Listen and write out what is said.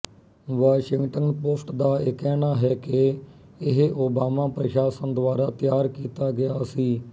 Washington post ਦਾ ਇਹ ਕਹਿਣਾ ਹੈ ਕਿ ਇਹ ਓਬਾਮਾ ਪ੍ਰਸ਼ਾਸਨ ਦੁਆਰਾ ਤਿਆਰ ਕੀਤਾ ਗਿਆ ਸੀ